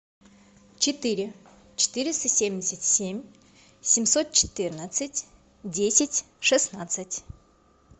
четыре четыреста семьдесят семь семьсот четырнадцать десять шестнадцать